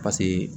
Paseke